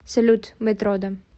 салют мэтрода